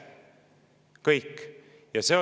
Kõik!